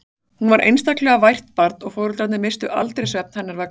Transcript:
Hún var einstaklega vært barn og foreldrarnir misstu aldrei svefn hennar vegna.